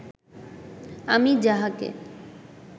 আমি যাহাকে